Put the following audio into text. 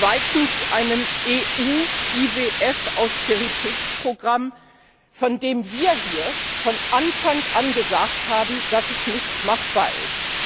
zweitens einem EU IWF Austeritätsprogramm, von dem wir hier von Anfang an gesagt haben, dass es nicht machbar ist.